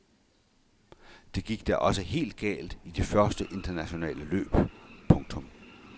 Det gik da også helt galt i de første internationale løb. punktum